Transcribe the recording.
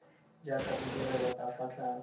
jaaka bodirelo ka fa tlase